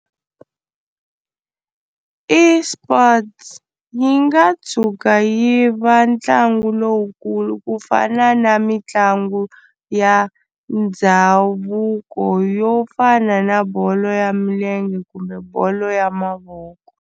eSports yi nga tshuka yi va ntlangu lowukulu ku fana na mitlangu ya ndhavuko yo fana na bolo ya milenge kumbe bolo ya mavoko.